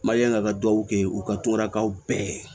Mali yan ka dugawu kɛ u ka tonnakaw bɛɛ